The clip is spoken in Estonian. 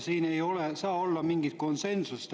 Siin ei saa olla mingit konsensust.